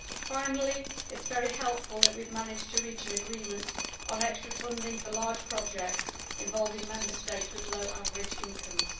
Finally, it is very helpful that we have managed to reach an agreement on extra funding for large projects involving Member States with low average incomes.